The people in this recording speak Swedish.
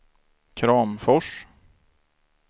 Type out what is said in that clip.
Kramfors